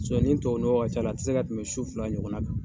ni tubabu ka c'a la a tɛ se ka tɛmɛ su fila ɲɔgɔn kan.